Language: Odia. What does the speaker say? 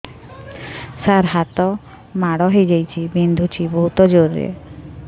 ସାର ହାତ ମାଡ଼ ହେଇଯାଇଛି ବିନ୍ଧୁଛି ବହୁତ ଜୋରରେ